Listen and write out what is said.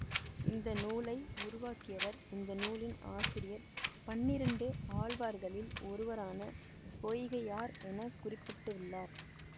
இந்த நூலை உருவாக்கியவர் இந்த நூலின் ஆசிரியர் பன்னிரண்டு ஆழ்வார்களில் ஒருவரான பொய்கையார் என குறிப்பிட்டுள்ளார்